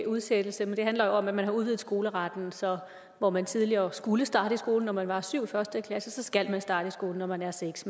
udsættelse men det handler jo om at man har udvidet skoleretten så hvor man tidligere skulle starte i skolen når man var syv år første klasse skal man starte i skolen når man er seks